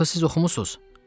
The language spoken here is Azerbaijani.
Axı siz oxumusuz.